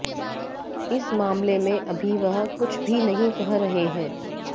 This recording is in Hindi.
इस मामले में अभी वह कुछ भी नहीं कह रहे हैं